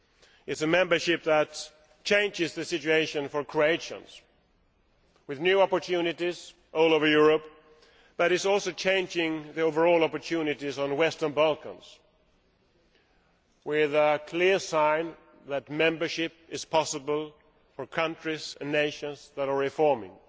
It is a membership which changes the situation for Croatians, with new opportunities all over Europe, but it is also changing the overall opportunities in the Western Balkans, with a clear sign that membership is possible for countries and nations which are reforming.